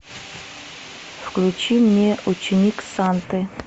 включи мне ученик санты